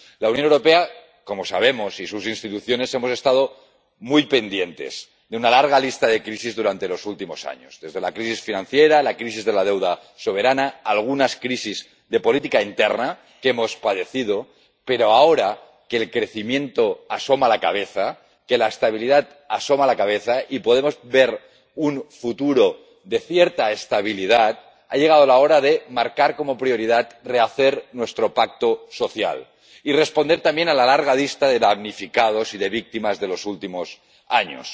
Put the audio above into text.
La Unión Europea, como sabemos, y sus instituciones hemos estado muy pendientes de una larga lista de crisis durante los últimos años —desde la crisis financiera, la crisis de la deuda soberana, algunas crisis de política interna que hemos padecido—, pero ahora que el crecimiento asoma la cabeza, que la estabilidad asoma la cabeza y podemos ver un futuro de cierta estabilidad, ha llegado la hora de marcar como prioridad rehacer nuestro pacto social y responder también a la larga lista de damnificados y de víctimas de los últimos años.